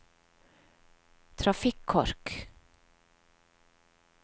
trafikkork